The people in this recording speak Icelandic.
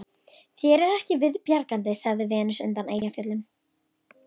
Þér er ekki viðbjargandi, sagði Venus undan Eyjafjöllum